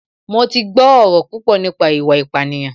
Mo ti gbọ́ ọ̀rọ̀ púpọ̀ nípa ìwà ìpánìyàn